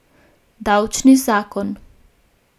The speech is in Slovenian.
Davčni zakon.